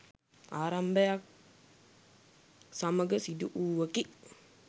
ආරම්භයත් සමඟ සිදු වූවකි.